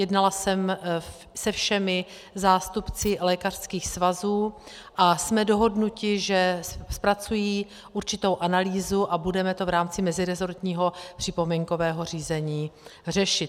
Jednala jsem se všemi zástupci lékařských svazů a jsme dohodnuti, že zpracují určitou analýzu, a budeme to v rámci meziresortního připomínkového řízení řešit.